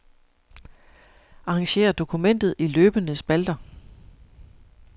Arrangér dokumentet i løbende spalter.